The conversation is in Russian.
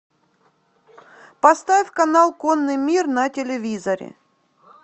поставь канал конный мир на телевизоре